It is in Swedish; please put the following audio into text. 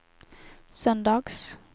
söndags